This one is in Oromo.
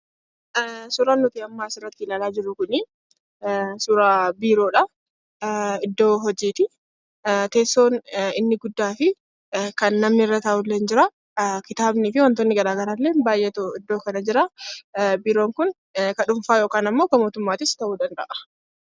Suuraan amma nuti asirratti ilaalaa jirru kun suuraa biiroodha. Iddoo hojiiti. Teessoon inni guddaa fi kan namni irra taa'udha. Kitaabni wantoonni garaagaraa baay'eetu jira. Biiroon kun kan dhuunfaa kan mootummaas ta'uu danda'a.